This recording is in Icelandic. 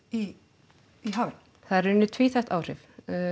í í hafinu það eru í rauninni tvíþætt áhrif